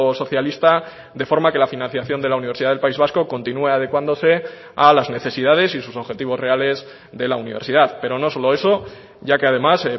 socialista de forma que la financiación de la universidad del país vasco continúe adecuándose a las necesidades y sus objetivos reales de la universidad pero no solo eso ya que además